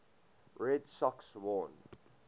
red sox won